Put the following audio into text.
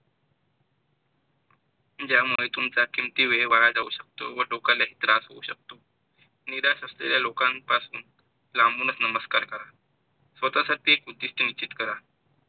ज्यामुळे तुमचा किमती वेळ वाया जाऊ शकतो, व डोक्याला ही त्रास होऊ शकतो. निदास असलेल्या लोकांपासून लांबूनच नमस्कार करा. स्वतःसाठी एक चिंतीत करा.